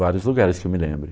Vários lugares que eu me lembre.